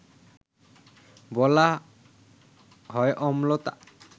বলা হয় অম্লতা